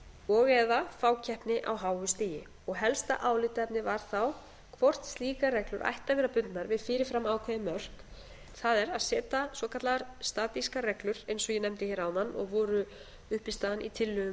og eða fákeppni á háu stigi helsta álitaefnið var þá hvort slíkar reglur ættu að vera bundnar við fyrir fram ákveðin mörk það er að setja svokallaðar statískar reglur eins og ég nefndi hér áðan og voru undirstaðan í tillögum